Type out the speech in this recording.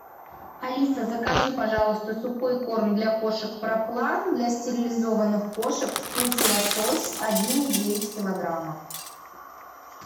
алиса закажи пожалуйста сухой корм для кошек про план для стерилизованных кошек вкус лосось один и девять килограмма